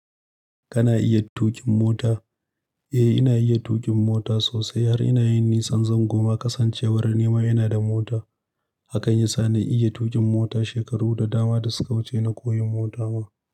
Kana iya tuƙin mota? Eh, ina iya tuƙin mota sosai har ina yin nisan zango ma kasancewar nima ina da mota. Hakan yasa na iya tuƙin mota. Shekaru da dama da suka wuce na koyi mota ma.